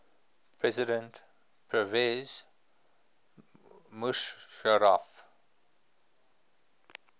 president pervez musharraf